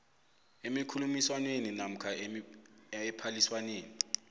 emikhulumiswaneni namkha ephaliswaneni